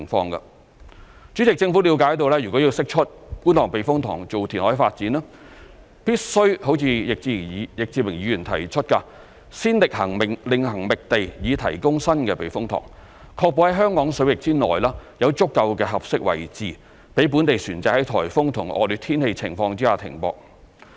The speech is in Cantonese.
代理主席，政府了解，若要釋出觀塘避風塘作填海發展，必須如易志明議員提出，先另行覓地以提供新避風塘，確保在香港水域內有足夠的合適位置供本地船隻在颱風和惡劣天氣情況下停泊。